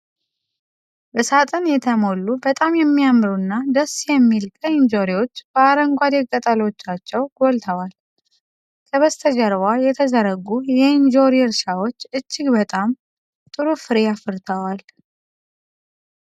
በሳጥን የተሞሉ፣ በጣም የሚያምሩና ደስ የሚል ቀይ እንጆሪዎች በአረንጓዴ ቅጠሎቻቸው ጎልተዋል። ከበስተጀርባ የተዘረጉ የእንጆሪ እርሻዎች እጅግ በጣም ጥሩ ፍሬ አፍርተዋል።